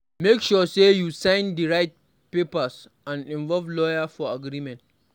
Make sure sey you sign di right papers and involve lawyer for agreement